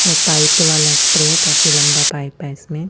ये पाइपो वाला स्प्रे है काफी लम्बा पाइप है इसमें--